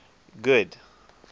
good